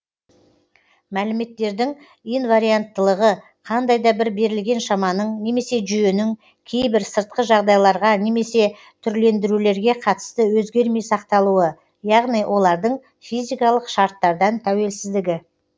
мәліметтердің инварианттылығы қандай да бір берілген шаманың немесе жүйенің кейбір сыртқы жағдайларға немесе түрлендірулерге қатысты өзгермей сақталуы яғни олардың физикалық шарттардан тәуелсіздігі